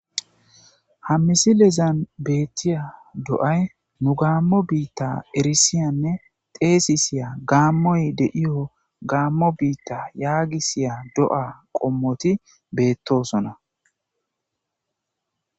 ha misilezan beettiya do7ay nu gaammo biitta erisiyanne teesi siya gaammoy de7iyo gaammo biitta yaagisiya do7a qommoti beettosona